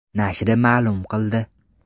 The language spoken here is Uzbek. nashri ma’lum qildi .